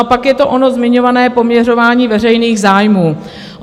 A pak je to ono zmiňované poměřování veřejných zájmů.